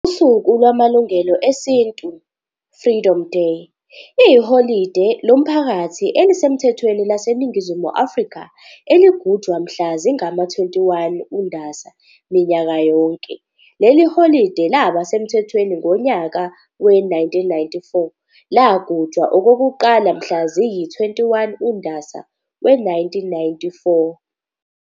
Usuku lwaMalungelo Esintu, "Freedom Day",yiholide lomphakathi elisemthethweni lase Ningizimu Afrika eligujwa mhla zingama-21 uNdasa minyaka yonke. Leli holide laba semthethweni ngonyaka we-1994 lagujwa okokuqala mhla ziyi-21 uNdasa we-1994.